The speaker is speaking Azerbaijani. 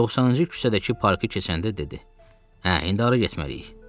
90-cı küçədəki parkı keçəndə dedi: Hə, indi ora getməliyik.